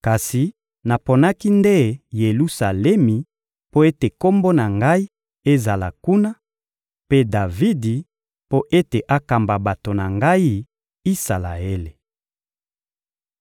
kasi naponaki nde Yelusalemi mpo ete Kombo na Ngai ezala kuna, mpe Davidi mpo ete akamba bato na Ngai, Isalaele!»